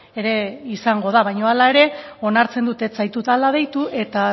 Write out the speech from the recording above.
ere izango da baina hala ere onartzen dut ez zaitudala deitu eta